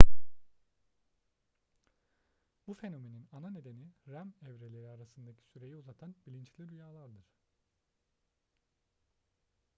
bu fenomenin ana nedeni rem evreleri arasındaki süreyi uzatan bilinçli rüyalardır